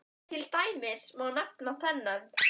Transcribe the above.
Til dæmis má nefna þennan